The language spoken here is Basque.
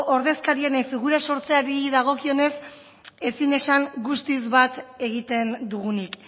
ordezkarien figura sortzeari dagokionez ezin esan guztiz bat egiten dugunik